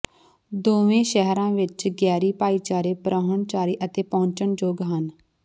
ਦੋਵੇਂ ਸ਼ਹਿਰਾਂ ਵਿਚ ਗੈਰੀ ਭਾਈਚਾਰੇ ਪਰਾਹੁਣਚਾਰੀ ਅਤੇ ਪਹੁੰਚਣਯੋਗ ਹਨ